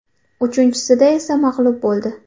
Uchinchisida esa mag‘lub bo‘ldi.